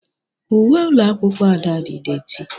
Uwe ụlọ akwụkwọ Ada dị dééti.